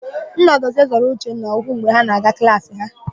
Nnadozie zọrọ Uchenna ụkwụ mgbe ha na-aga na klaasị ha.